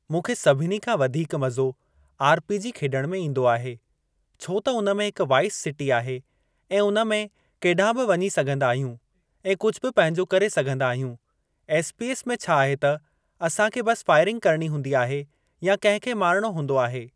मूंखे सभिनी खां वधीक मज़ो आरपीजी खेॾण में ईंदो आहे। छो त उन में हिक वाइस सिटी आहे ऐं उन में केॾांहुं बि वञी सघिंदा आहियूं ऐं कुझ बि पंहिंजो करे सघिंदा आहियूं। एसपीएस में छा आहे त असां खे बस फाइरिंग करणी हूंदी आहे या कंहिं खे मारिणो हूंदो आहे।